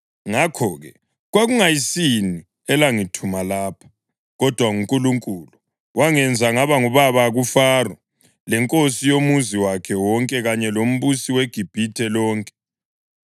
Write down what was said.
Ngakho-ke, kwakungayisini elangithuma lapha, kodwa nguNkulunkulu. Wangenza ngaba ngubaba kuFaro, lenkosi yomuzi wakhe wonke kanye lombusi weGibhithe lonke.